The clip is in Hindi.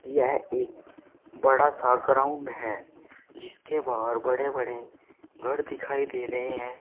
यह एक बड़ा सा ग्राउंड है जिसके बाहर बड़े बड़े घर दिखाई दे रहे है।